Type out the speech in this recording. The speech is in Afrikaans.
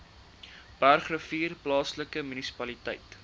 bergrivier plaaslike munisipaliteit